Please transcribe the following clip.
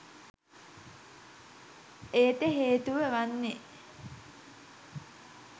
එයට හේතුව වන්නේ